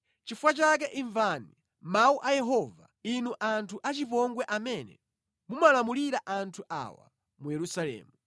Nʼchifukwa chake imvani mawu a Yehova, inu anthu achipongwe amene mumalamulira anthu awa mu Yerusalemu.